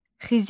Xizək.